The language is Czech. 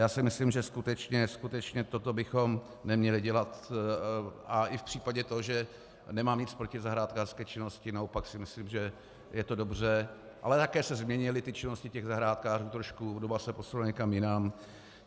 Já si myslím, že skutečně toto bychom neměli dělat a i v případě to, že nemám nic proti zahrádkářské činnosti, naopak si myslím, že je to dobře, ale také se změnily ty činnosti těch zahrádkářů trošku, doba se posunula někam jinam.